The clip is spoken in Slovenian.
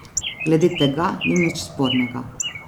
Glede tega ni nič spornega.